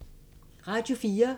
Radio 4